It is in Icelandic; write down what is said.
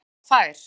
Hún er afar fær.